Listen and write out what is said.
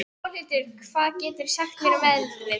Pálhildur, hvað geturðu sagt mér um veðrið?